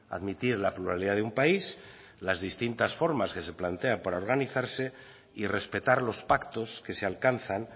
admitir la pluralidad de un país las distintas formas que se plantean para organizarse y respetar los pactos que se alcanzan